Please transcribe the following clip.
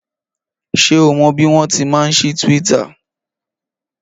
Ṣé o mọ bí wọ́n ti máa ń sí tíwíttà?